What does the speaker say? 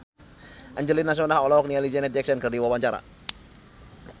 Angelina Sondakh olohok ningali Janet Jackson keur diwawancara